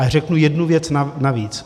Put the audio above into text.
A řeknu jednu věc navíc.